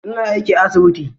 Ina aiki a asibiti.